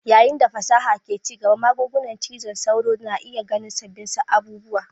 Yayin da fasaha ke ci gaba, magungunan zazzabin cizon sauro na iya ganin sabbin abubuwa.